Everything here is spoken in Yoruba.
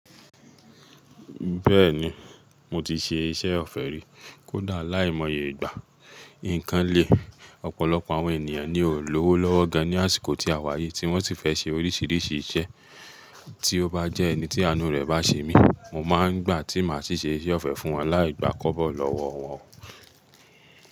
Bẹ́ẹ̀ni, mo ti ṣe iṣẹ́ ọ̀fẹ́ rí. Kódà láìmọye ìgbà, nǹkan le, ọ̀pọ̀lọpọ̀ àwọn ènìyàn ni ò ń lówó lọ́wọ́ gan ní àsìkò tí a wà yìí tí wọ́n sì fẹ́ ṣe oríṣiríṣi iṣẹ́. Tí ó bá jẹ́ ẹni tí àánú rẹ̀ bá ṣe mí, mo máa ń gbà tí màá sì ṣe iṣẹ́ ọ̀fẹ́ fún wọn láì gbà kọ́bọ̀ lọ́wọ́ wọn.